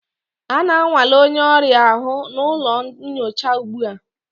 A na-anwale onye ọrịa ahụ n'ụlọ nyocha ugbu a